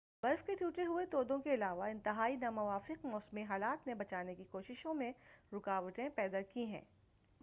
برف کے ٹوٹے ہوئے تودوں کے علاوہ انتہائی ناموافق موسمی حالات نے بچانے کی کوششوں میں رکاوٹیں پیدا کی ہیں